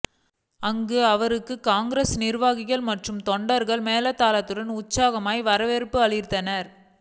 அங்கு அவருக்கு காங்கிரஸ் நிர்வாகிகள் மற்றும் தொண்டர்கள் மேளதாளத்துடன் உற்சாக வரவேற்பு அளித்தனர்